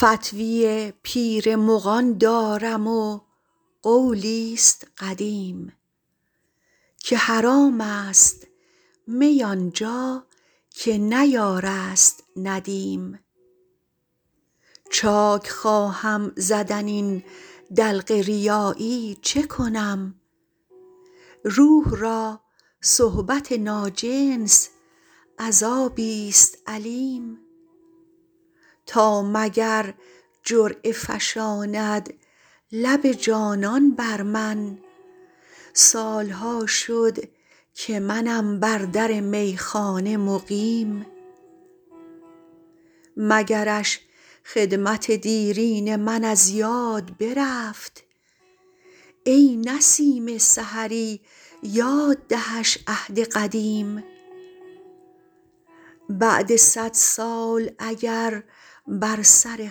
فتوی پیر مغان دارم و قولی ست قدیم که حرام است می آن جا که نه یار است ندیم چاک خواهم زدن این دلق ریایی چه کنم روح را صحبت ناجنس عذابی ست الیم تا مگر جرعه فشاند لب جانان بر من سال ها شد که منم بر در میخانه مقیم مگرش خدمت دیرین من از یاد برفت ای نسیم سحری یاد دهش عهد قدیم بعد صد سال اگر بر سر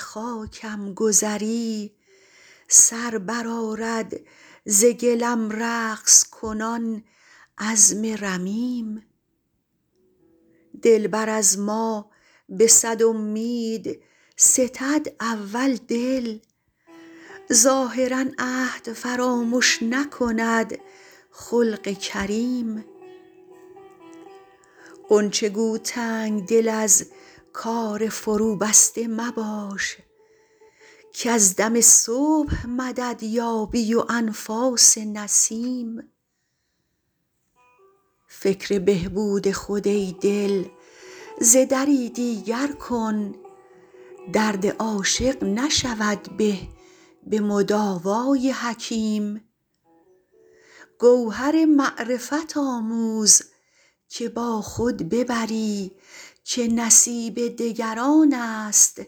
خاکم گذری سر برآرد ز گلم رقص کنان عظم رمیم دلبر از ما به صد امید ستد اول دل ظاهرا عهد فرامش نکند خلق کریم غنچه گو تنگ دل از کار فروبسته مباش کز دم صبح مدد یابی و انفاس نسیم فکر بهبود خود ای دل ز دری دیگر کن درد عاشق نشود به به مداوای حکیم گوهر معرفت آموز که با خود ببری که نصیب دگران است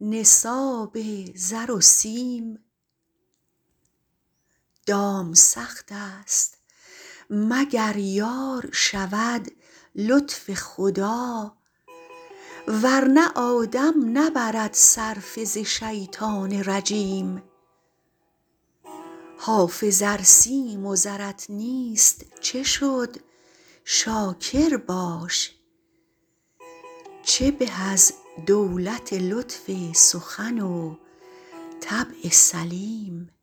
نصاب زر و سیم دام سخت است مگر یار شود لطف خدا ور نه آدم نبرد صرفه ز شیطان رجیم حافظ ار سیم و زرت نیست چه شد شاکر باش چه به از دولت لطف سخن و طبع سلیم